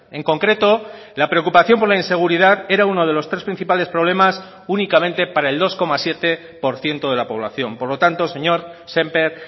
en concreto la preocupación por la inseguridad era uno de los tres principales problemas únicamente para el dos coma siete por ciento de la población por lo tanto señor sémper